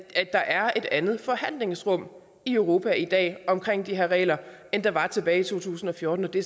andet forhandlingsrum i europa i dag omkring de her regler end der var tilbage i to tusind og fjorten det